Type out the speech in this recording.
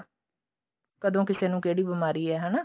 ਕਦੋਂ ਕਿਸੇ ਨੂੰ ਕਿਹੜੀ ਬਿਮਾਰੀ ਹੈ ਹਨਾ